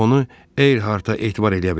Onu Eyharta etibar eləyə bilərik.